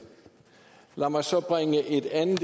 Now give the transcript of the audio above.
lad mig så bringe et andet